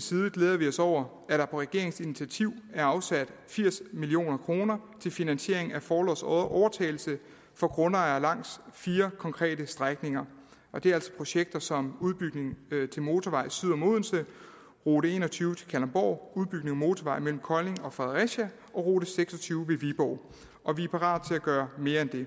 side glæder vi os over at der på regeringens initiativ er afsat firs million kroner til finansiering af forlods overtagelse for grundejere langs fire konkrete strækninger og det er altså projekter som udbygning af motorvejen syd om odense rute en og tyve til kalundborg udbygning af motorvejen mellem kolding og fredericia og rute seks og tyve ved viborg og vi er parate til at gøre mere end det